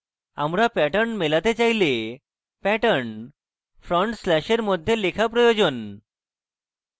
আমরা pattern মেলাতে চাইলে pattern front স্ল্যাশের মধ্যে লেখা প্রয়োজন